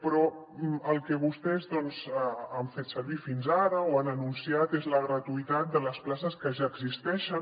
però per al que vostès doncs ho han fet servir fins ara o ho han anunciat és per a la gratuïtat de les places que ja existeixen